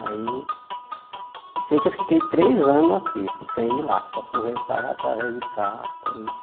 Aí sei que eu fiquei três anos aqui, sem ir lá, só conversava através de carta e